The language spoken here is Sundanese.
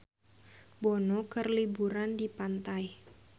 Bono keur liburan di pantai